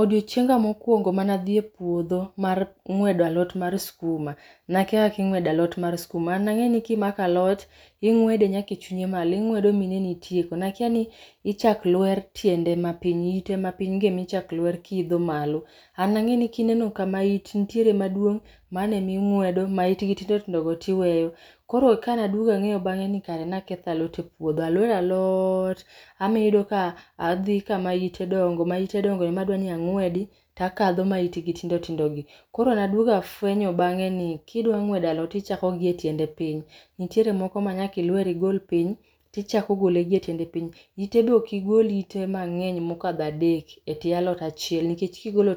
Odiochienga mokuongo mane adhi e puodho mar ngwedo alot mar skuma, nakia kaka ingwedo alot mar skuma, an nangeni kimako alot ingwede nyaka e chunye malo, ingwede nyaka ineni itieko, nakia ni ichak lwer tiende mapiny, ite mapiny gi ema ichak lwer kiidho malo. An nangeni kineno kama it nitiere maduong, mano ema ingwedo, ma itgi tindo tindo go tiweyo. Koro kane angeyo bange ni aketho alot e puodho, aloyo alot, abedo ka adhi kama ite dongo, ma ite dongo ema adwani angwedi takadho ma ite tindo tindo gi. Koro nafwenyo bange ni kidwa ngwedo alot ichako gi e tiende piny, niitere moko ma nyaka ilwer igol piny tichako gole gi e tiende piny. Ite be ok igol ite manegny mokadho adek e tie alot achiel nikech kigolo